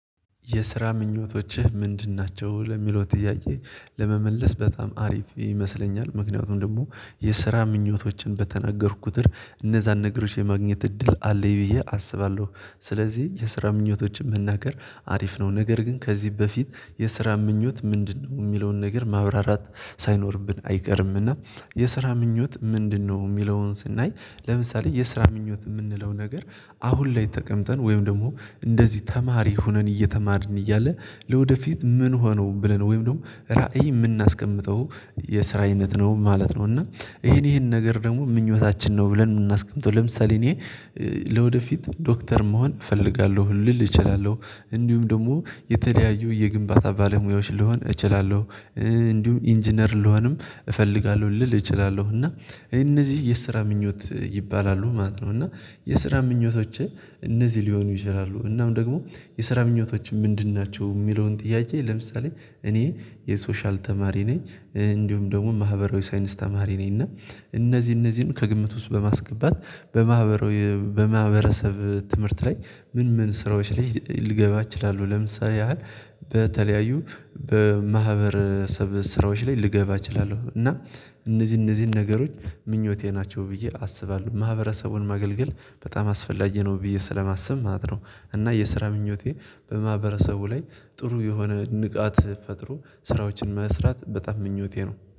የስራ ምኞቶችህ ምንድን ናቸው? ለሚለው ጥያቄ ለመመለስ በጣም አሪፍ ይመስለኛል። ምክንያቱም ደግሞ የስራ ምኞቶችን በተነገርኩ ኩትር እነዛን ነገሮች የማግኘት እድል አለኝ ብዬ አስባለሁ ስለዚህ የስራ ምኞቶችን መናገር አሪፍ ነው። ነገር ግን ከዚህ በፊት የስራ ምኞት ምንድነው የሚለውን ነገር ማብራራት ሳይኖርብን አይቀርምና የስራ ምኞት ምንድነው የሚለውን ስናይ ለምሳሌ የስራ ምኞት የምንለው ነገር አሁን ላይ ተቀምጠን ወይም ደግሞ እንደዚህ ተማሪ ሆነን እየተማርን እያለ ለወደፊት ምን ሆኖ ብለን ወይም ደግሞ ራዕይ የምናስቀምጠው የስራ አይነት ነው ማለት ነው እና ይሄን ይሄን ነገር ደግሞ ምኞታችን ነው ብለን የምናስቀምጠው ለምሳሌ እኔ ለወደፊት ዶክተር መሆን እፈልጋለሁ ልል እችላለው እንዲሁም ደግሞ የተለያዩ የግንባታ ባለሙያዎች ልሆን እችላለሁ እንዲሁም ኢንጂነር ልሆንም እፈልጋለሁ ልል እችላለሁ እና እነዚህ የስራ ምኞት ይባላሉ ማለት ነው እና የስራ ምኞቶችህ እነዚህ ሊሆኑ ይችላሉ እናም ደግሞ የስራ ምኞቶች ምንድን ናቸው? የሚለውን ጥያቄ ለምሳሌ እኔ የሶሻል ተማሪ ነኝ እንዲሁም ደግሞ ማህበራዊ ሳይንስ ተማሪ ነኝ እና እነዚህ እነዚህን ከግምት ውስጥ በማስገባት በማህበረሰብ ትምህርት ላይ ምን ምን ስራዎች ላይ ልገባ እችላለው ለምሳሌ ያህል በተለያዩ በማህበረሰብ ስራዎች ላይ ልገባ እችላለው እና እነዚህ እነዚህን ነገሮች ምኞቴ ናቸው። ብዬ አስባለሁ ማህበረሰቡን ማገልገል በጣም አስፈላጊ ነው ብዬ ስለማስብ ማለት ነው እና የስራ ምኞቴ በማህበረሰቡ ላይ ጥሩ የሆነ ንቃት ፈጥሮ ስራዎችን መስራት በጣም ምኞቴ ነው።